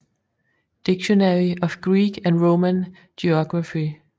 Dictionary of Greek and Roman Geography